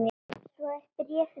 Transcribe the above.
Svo er bréfið búið